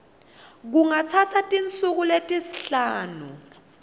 kungatsatsa tinsuku letisihlanu